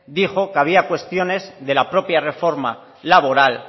dijo que había cuestiones de la propia reforma laboral